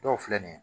Dɔw filɛ nin ye